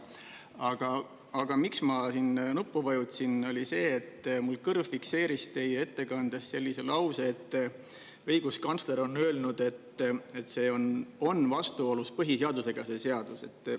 Aga ma vajutasin nuppu sellepärast, et mu kõrv fikseeris teie ettekandes sellise lause, et õiguskantsler on öelnud, et see seadus on vastuolus põhiseadusega.